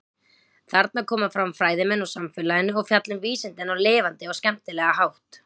Þarna koma fram fræðimenn úr samfélaginu og fjalla um vísindin á lifandi og skemmtilega hátt.